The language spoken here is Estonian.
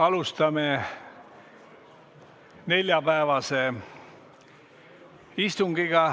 Alustame neljapäevast istungit.